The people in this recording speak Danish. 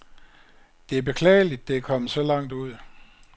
Det er beklageligt, det er kommet så langt ud.